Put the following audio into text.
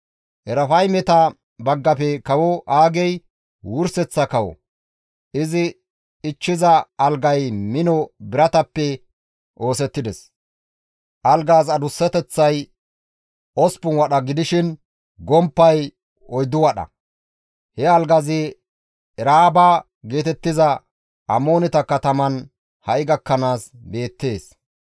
[Erafaymeta baggafe kawo Aagey wurseththa kawo; izi ichchiza algay mino biratappe oosettides; algaas adussateththay osppun wadha gidishin gomppay oyddu wadha; he algazi Eraaba geetettiza Amooneta katamaan ha7i gakkanaas beettees.]